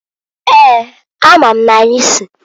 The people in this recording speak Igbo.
Eeǃ A ma m n'anyị si.